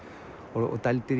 og